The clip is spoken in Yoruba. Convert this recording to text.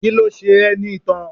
Kíló ṣe ẹ́ ní itan?